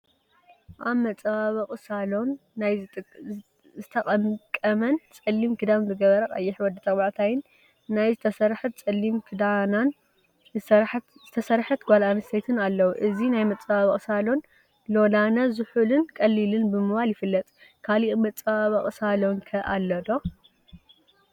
አብ መፀባበቂ ሳሎን ናይ ዝተቀምቀመን ፀሊም ክዳን ዝገበረ ቀይሕ ወዲ ተባዕታይን ናይ ዝተሰርሐት ፀሊም ክዳናን ዝተሰርሐት ጓል አነስተይቲን አለው፡፡ እዚ ናይ መፀባበቂ ሳሎን ሎላነ ዝሑልን ቀሊልን ብምባል ይፍለጥ፡፡ ካሊእ መፀባበቂ ሳሎን ኸ አሎ ዶ?